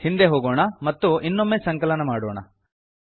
ಹಿಂದೆ ಹೋಗೋಣ ಮತ್ತು ಇನ್ನೊಮ್ಮೆ ಸಂಕಲನ ಮಾಡೋಣ